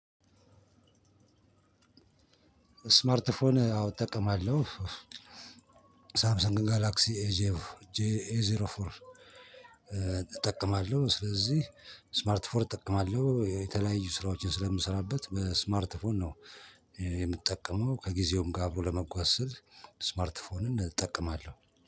ስማርት ፎን አዎ እጠቀማለሁ ሳምሰንግ ጋላክሲ ኤጄቭ ኤዜሮ ፎር እጠቀማለሁ። ስለዚህ ስማርት ፎን እጠቀማለሁ የተለያዩ ስራዎችን ስለምሰራበት በስማርት ፎን ነው። የምጠቀመው ከጊዜውም ጋር አብሮ ለመጓዝ ስል ስማርት ፎንን እጠቀማለሁ።